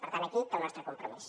per tant aquí té el nostre compromís